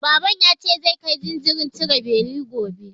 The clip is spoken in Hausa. Baban ya ce zai kai jinjirin cire beli gobe.